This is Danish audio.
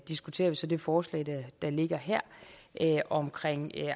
diskuterer vi så det forslag der ligger her om